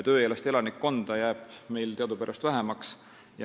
Tööealist elanikkonda jääb meil teadupärast vähemaks.